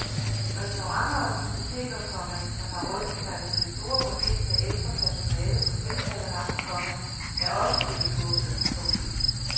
Restauranter og diskoteker, komma som har rustet sig til det store rykind med ekstra personale på tilkaldevagt, komma er også blevet skuffede. punktum